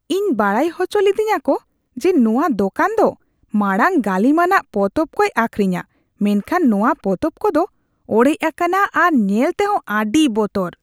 ᱤᱧ ᱵᱟᱲᱟᱭ ᱦᱚᱪᱚ ᱞᱤᱫᱤᱧᱟᱠᱚ ᱡᱮ ᱱᱚᱣᱟ ᱫᱚᱠᱟᱱ ᱫᱚ ᱢᱟᱲᱟᱝ ᱜᱟᱹᱞᱤᱢᱟᱱᱟᱜ ᱯᱚᱛᱚᱵ ᱠᱚᱭ ᱟᱹᱠᱷᱨᱤᱧᱼᱟ, ᱢᱮᱱᱠᱷᱟᱱ ᱱᱚᱣᱟ ᱯᱚᱛᱚᱵ ᱠᱚᱫᱚ ᱚᱲᱮᱡ ᱟᱠᱟᱱᱟ ᱟᱨ ᱧᱮᱞ ᱛᱮᱦᱚ ᱟᱹᱰᱤ ᱵᱚᱛᱚᱨ ᱾